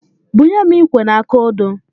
Bunye m ikwe na aka odo.